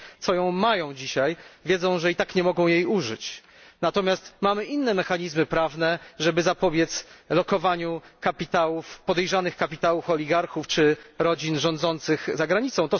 Ci, co ją mają dzisiaj, wiedzą, że i tak nie mogą jej użyć, natomiast mamy inne mechanizmy prawne, żeby zapobiec lokowaniu podejrzanych kapitałów oligarchów czy rodzin rządzących za granicą.